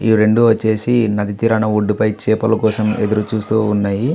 ఈ రెండు వచ్చేసి నది తీరాన ఒడ్డుపై చేపల కోసం ఎదురుచూస్తున్నాయి.